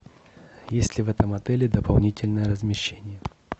есть ли в этом отеле дополнительное размещение